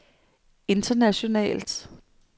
internationalt